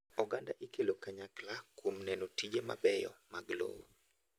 Oganda ikelo kanyakla kuom neno tije mabeyo mag lowo.